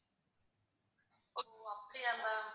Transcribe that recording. ஓ அப்படியா ma'am